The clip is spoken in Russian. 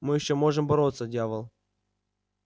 мы ещё можем бороться дьявол